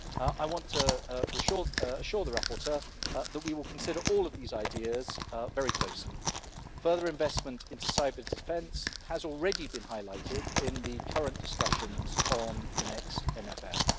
I want to assure the rapporteur that we will consider all of these ideas very closely. Further investment in cyber-defence has already been highlighted in the current discussions on the next MFF.